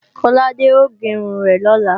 Kọ́ládé ò gé irun rẹ̀ lọ́la